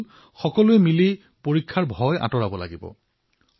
বন্ধুসকল আমি সকলোৱে মিলি এই পৰীক্ষাৰ ত্ৰাস দূৰ কৰিব লাগে